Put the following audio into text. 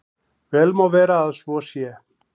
Vel má vera að svo sé.